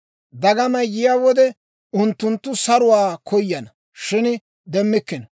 Dagamay yiyaa wode, unttunttu saruwaa koyana; shin demmikkino.